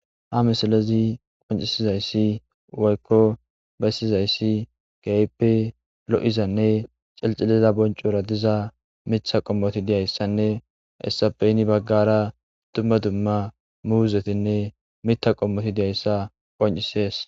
ha misalezi qoncisizayssi woykko bessizayssi gayppe lo7izanne celxiliza boncura diza mitha qommoti diyayssanne essapeyni baggara dumma dumma muuzetinne mita qommoti diyayssa qoncisees